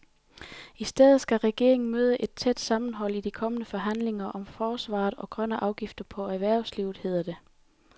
I stedet skal regeringen møde et tæt sammenhold i de kommende forhandlinger om forsvaret og grønne afgifter på erhvervslivet, hedder det.